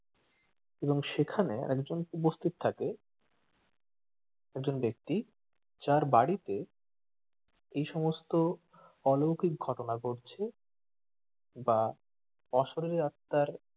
এবং সেখানে আরেকজন উপস্থিত থাকে একজন ব্যাক্তি যার বাড়িতে এই সমস্ত অলৌকিক ঘটনা ঘটছে বা অশরিরী আত্মার